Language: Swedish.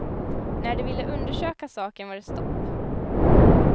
När de ville undersöka saken var det stopp.